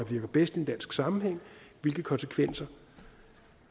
virker bedst i en dansk sammenhæng og hvilke konsekvenser